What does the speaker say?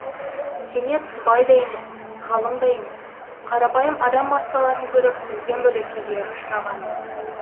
кенет бай да емес ғалым да емес қарапайым адам массаларын көріп мүлдем бөлек күйге ұшырағанмын